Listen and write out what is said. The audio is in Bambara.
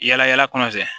Yala yala kɔnɔ fɛ